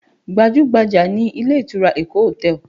Gbajú-gbajà ni ilé ìtura Eko hotel